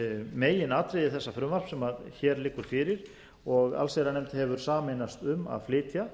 meginatriði þessa frumvarps sem hér liggur fyrir og allsherjarnefnd hefur sameinast um að flytja